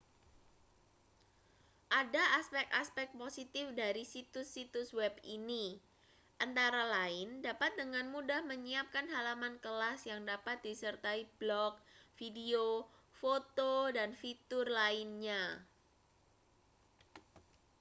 ada aspek-aspek positif dari situs-situs web ini antara lain dapat dengan mudah menyiapkan halaman kelas yang dapat disertai blog video foto dan fitur lainnya